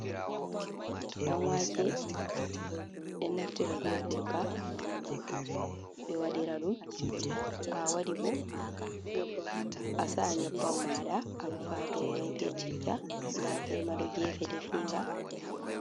Ɗan wake ɓe naftira ɓe gurka ɓe waɗira ɗum, to a waɗi bo a saa nyabban maɗa a rufa domai be citta, nda koi ma ɗo gefe definga.